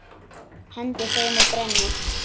Hendi þeim og brenni.